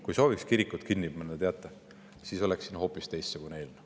Kui me sooviksime kirikut kinni panna, teate, siis oleks siin hoopis teistsugune eelnõu.